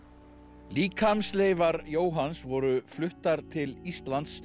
líkamsleifar Jóhanns voru fluttar til Íslands